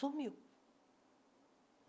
Sumiu.